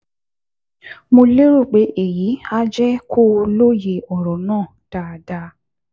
Mo lérò pé èyí á jẹ́ kó o lóye ọ̀rọ̀ náà dáadáa